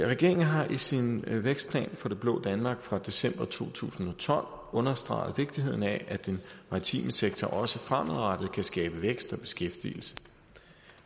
regeringen har i sin vækstplan for det blå danmark fra december to tusind og tolv understreget vigtigheden af at den maritime sektor også fremadrettet kan skabe vækst og beskæftigelse